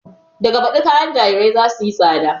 Daga baɗi kayan jarirai za suyi tsada